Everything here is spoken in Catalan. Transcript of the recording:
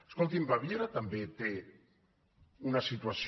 escolti’m baviera també té una situació